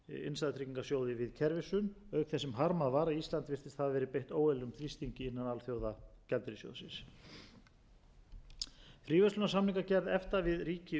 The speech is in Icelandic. innstæðutryggingarsjóði við kerfishrun auk þess sem harmað var að ísland virðist hafa verið beitt óeðlilegum þrýstingi innan alþjóðagjaldeyrissjóðsins fríverslunarsamningagerð efta við ríki utan e s b svonefnd þriðju ríki var ofarlega á dagskrá þingmannanefndar efta og má